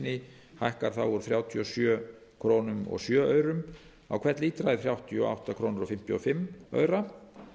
hækki úr þrjátíu og sjö komma núll sjö krónum á hvern lítra í þrjátíu og átta komma fimmtíu og fimm krónur samtals